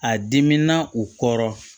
A dimina u kɔrɔ